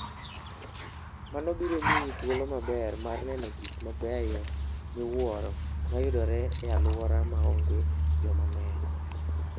Mano biro miyi thuolo maber mar neno gik mabeyo miwuoro ma yudore e alworano ma onge joma ng'eny.